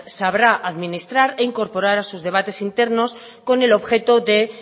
sabrá administrar e incorporar a sus debates internos con el objeto de